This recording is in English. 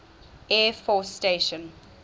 air force station